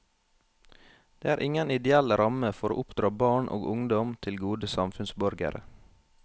Det er ingen ideell ramme for å oppdra barn og ungdom til gode samfunnsborgere.